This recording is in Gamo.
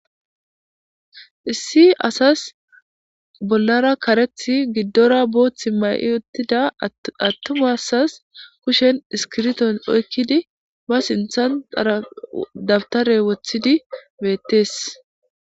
Issi assasi bollara karethi gidora bothi mayida atuma assasi kusheni isikibirito oyikidi ba sinitha dawutara wothidi betes